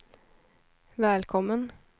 välkommen